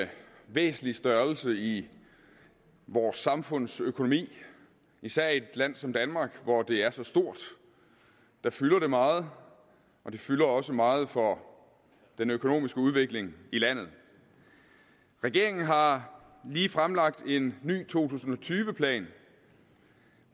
en væsentlig størrelse i vores samfundsøkonomi især i et land som danmark hvor det er så stort det fylder meget og det fylder også meget for den økonomiske udvikling i landet regeringen har lige fremlagt en ny to tusind og tyve plan